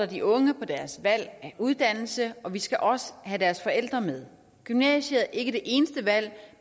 de unge på deres valg af uddannelse og vi skal også have deres forældre med gymnasiet er ikke det eneste valg